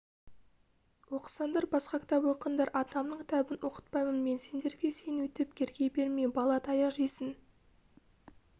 оқысаңдар басқа кітап оқыңдар атамның кітабын оқытпаймын мен сендерге сен өйтіп керги берме бала таяқ жейсің